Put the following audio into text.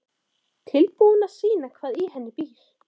Tilbúin að sýna hvað í henni býr.